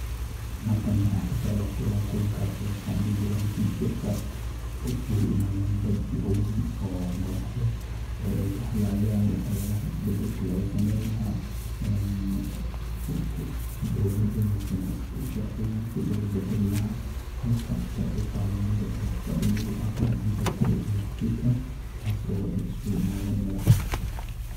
Kulanka is-weydaarsiga ee wasaaradaha kala duwan ee Kenya ayaa ahaa mid muhiim ah oo looga golleeyahay in la xoojiyo iskaashiga iyo wada shaqeynta wasaaradaha dowladda si loo gaaro himilooyinka horumarineed ee dalka. Wasiirrada iyo madaxda sare ee wasaaradaha kala duwan ayaa isugu yimid magaalada Nairobi.